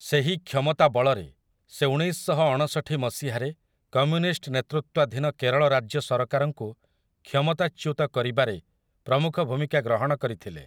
ସେହି କ୍ଷମତା ବଳରେ, ସେ ଉଣେଇଶଶହଅଣଷଠି ମସିହାରେ କମ୍ୟୁନିଷ୍ଟ୍ ନେତୃତ୍ୱାଧୀନ କେରଳ ରାଜ୍ୟ ସରକାରଙ୍କୁ କ୍ଷମତାଚ୍ୟୁତ କରିବାରେ ପ୍ରମୁଖ ଭୂମିକା ଗ୍ରହଣ କରିଥିଲେ ।